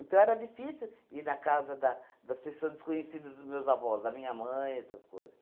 Então era difícil ir na casa da das pessoas desconhecidas dos meus avós, da minha mãe, essas coisas.